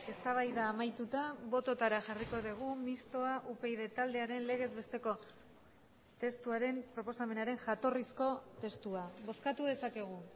eztabaida amaituta bototara jarriko dugu mistoa upyd taldearen legez besteko testuaren proposamenaren jatorrizko testua bozkatu dezakegu